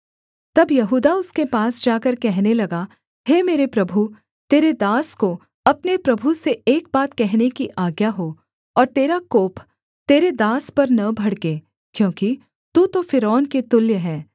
तब यहूदा उसके पास जाकर कहने लगा हे मेरे प्रभु तेरे दास को अपने प्रभु से एक बात कहने की आज्ञा हो और तेरा कोप तेरे दास पर न भड़के क्योंकि तू तो फ़िरौन के तुल्य हैं